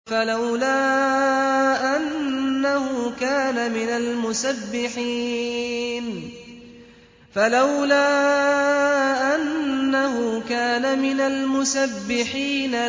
فَلَوْلَا أَنَّهُ كَانَ مِنَ الْمُسَبِّحِينَ